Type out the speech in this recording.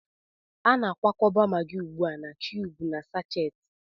A na-akwakọba Maggi ugbu a na kiyubu na sáchééti